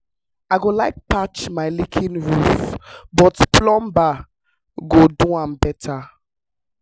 i dey like patch my leaking roof but plumber go do am better.